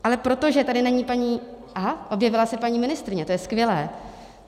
Ale protože tady není paní... aha, objevila se paní ministryně, to je skvělé.